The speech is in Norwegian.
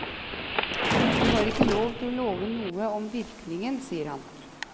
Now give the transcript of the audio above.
Vi har ikke lov til å love noe om virkningen, sier han.